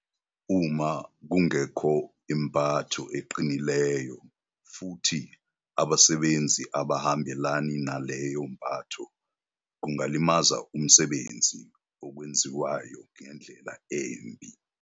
Uma kungekho impatho eqinileyo futhi abasebenzi abahambelani naleyo mpatho kungalimaza umsebenzi ozokwenziwayo ngendlela embi.